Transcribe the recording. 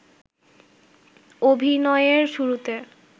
অভিনয়য়ের শুরুতে